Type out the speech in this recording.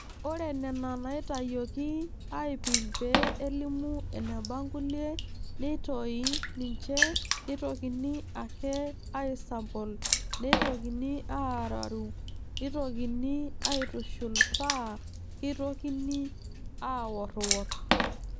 Ore Nena naaitayioki aaipim pee elimu eneba nkulie neitoyi ninche neitokini ake aaisambol neitokini arrarru neitokini aaitushul paa keitokoni aaworrworr.